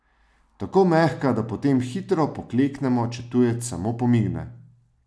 Tako mehka, da potem hitro pokleknemo, če tujec samo pomigne.